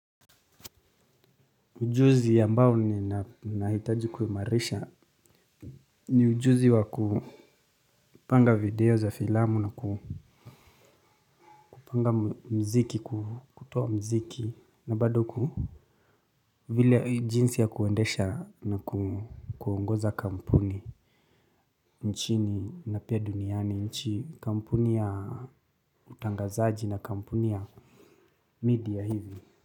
Ujuzi ambao ninahitaji kuimarisha ni ujuzi wa kupanga video za filamu na kupanga muziki kutoa muziki na bado ku vile jinsi ya kuendesha na kuongoza kampuni nchini na pia duniani nchi kampuni ya utangazaji na kampuni ya media hivi.